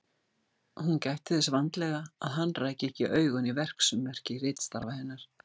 Hún gætti þess vandlega að hann ræki ekki augun í verksummerki ritstarfa hennar.